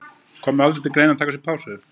Kom það aldrei til greina að taka sér pásu?